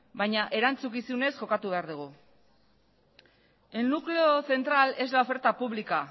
baina erantzukizunez jokatu behar dugu el núcleo central es la oferta pública